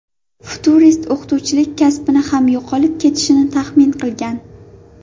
Futurist o‘qituvchilik kasbini ham yo‘qolib ketishini taxmin qilgan.